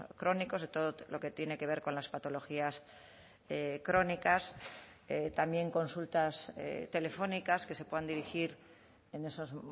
crónicos de todo lo que tiene que ver con las patologías crónicas también consultas telefónicas que se puedan dirigir en esos